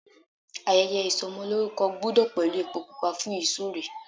Ayẹyẹ ìsọmọlórúkọ gbúdọ̀ pẹ̀lú epo pupa fún ìsúre.